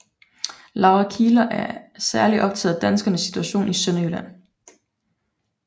Laura Kieler var særlig optaget af danskernes situation i Sønderjylland